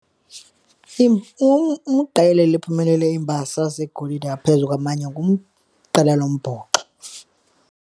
Iqela eliphumelele imbasa zegolide ngaphezu kwamanye ngumqela lombhoxo.